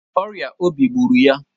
Ọrịa obi gbụrụ ya.